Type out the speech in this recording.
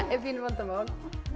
er pínu vandamál